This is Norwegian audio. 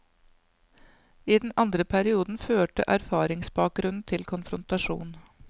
I den andre perioden førte erfaringsbakgrunnen til konfrontasjon.